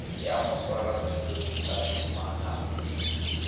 ya moswarasetulo le ka šomanago